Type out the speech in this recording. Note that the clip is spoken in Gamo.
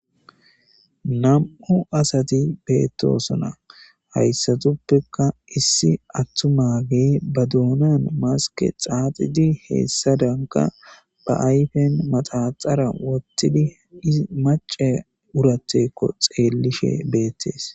Nam7u asati beettosona hayssatuppeka issi attumaagey ba duunan maske xaaxidi heessadanka ba ayfen maxaxara wottidi isi mace urateeko xeellishe beettes.